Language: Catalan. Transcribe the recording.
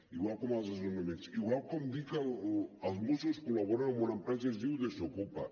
igual com en els desnonaments igual com dir que els mossos col·laboren amb una empresa que es diu desokupa